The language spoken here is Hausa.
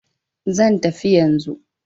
Zan tafi yanzu.